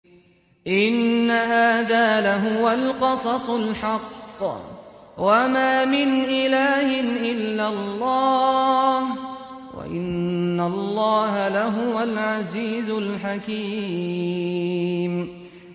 إِنَّ هَٰذَا لَهُوَ الْقَصَصُ الْحَقُّ ۚ وَمَا مِنْ إِلَٰهٍ إِلَّا اللَّهُ ۚ وَإِنَّ اللَّهَ لَهُوَ الْعَزِيزُ الْحَكِيمُ